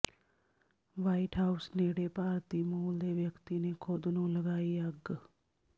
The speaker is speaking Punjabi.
ਵ੍ਹਾਈਟ ਹਾਊਸ ਨੇੜੇ ਭਾਰਤੀ ਮੂਲ ਦੇ ਵਿਅਕਤੀ ਨੇ ਖ਼ੁਦ ਨੂੰ ਲਗਾਈ ਅੱਗ